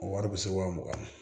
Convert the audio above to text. Wari bɛ se waa mugan ma